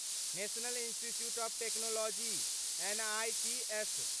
national institutes of technology NITs